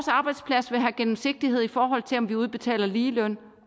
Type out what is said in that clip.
arbejdsplads vil have gennemsigtighed i forhold til om der udbetales ligeløn